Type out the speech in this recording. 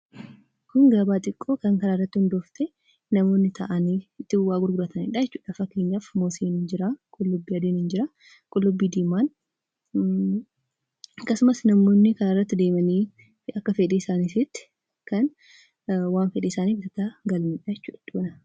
Kun gabaa xiqqoo kan karaa irratti hundooftee; bakka namoonni taa'aanii wanta garaa garii itti gurguranii dha. Fakkeenyaaf muuziin ni jiraa; qullubbii adiinis ni jira. Akkasumas kan namoonni akka fedhii isaaniitti waan fedhan bitatanii dha.